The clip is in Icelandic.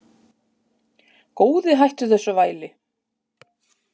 Góði hættu þessu væli!